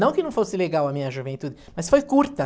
Não que não fosse legal a minha juventude, mas foi curta.